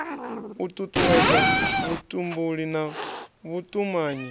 u tutuwedza vhutumbuli na vhutumanyi